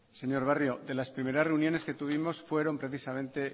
señor barrio en las primeras reuniones que tuvimos fueron precisamente